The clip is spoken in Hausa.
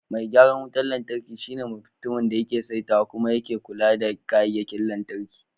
Mai gyaran wutar lantarki shine mutumin da yake saitawa kuma yake kula da kayayyakin lantarki.